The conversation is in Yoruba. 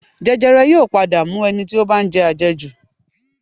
Jẹjẹrẹ yóò padà mú ẹni tí ó bá ń jẹ àjẹjù